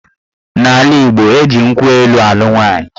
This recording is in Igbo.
N'ala Igbo, eji nkwụ elu alụ nwaanyị